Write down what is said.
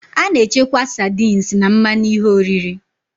A na-echekwa sardines na mmanụ ihe oriri